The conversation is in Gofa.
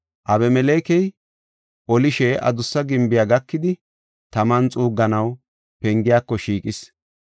Abimelekey olishe adussa gimbiya gakidi taman xuugganaw pengiyako shiiqis.